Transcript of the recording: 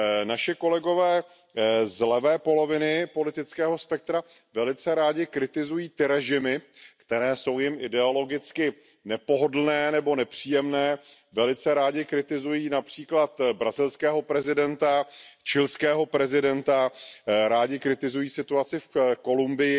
Naši kolegové z levé poloviny politického spektra velice rádi kritizují ty režimy, které jsou jim ideologicky nepohodlné nebo nepříjemné, velice rádi kritizují například brazilského prezidenta, chilského prezidenta, rádi kritizují situaci v Kolumbii,